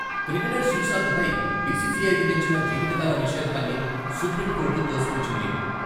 Cricketer శ్రీశాంతపై BCCI విధించిన జీవితకాల నిషేధాన్ని సుప్రీంకోర్టు తోసిపుచ్చింది.